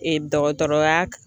Ee dɔgɔtɔrɔya